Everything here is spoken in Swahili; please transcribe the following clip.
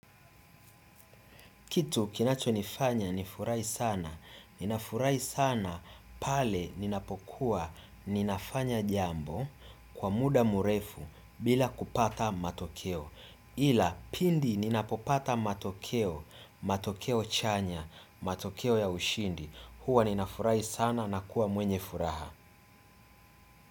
Kitu kinacho nifanya nifurahi sana ninafurahi sana pale ninapokuwa ninafanya jambo kwa muda mrefu bila kupata matokeo. Ila pindi ninapopata matokeo, matokeo chanya, matokeo ya ushindi, huwa ninafurahi sana na kuwa mwenye furaha.